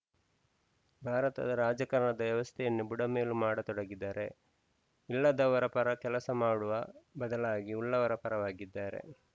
ಭಾರತದ ರಾಜಕಾರಣದ ವ್ಯವಸ್ಥೆಯನ್ನು ಬುಡಮೇಲು ಮಾಡತೊಡಗಿದ್ದಾರೆ ಇಲ್ಲದವರ ಪರ ಕೆಲಸ ಮಾಡವ ಬದಲಾಗಿ ಉಳ್ಳವರ ಪರವಾಗಿದ್ದಾರೆ